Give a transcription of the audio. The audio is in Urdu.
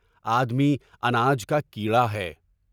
آدمی اناج کا کیڑا ہے۔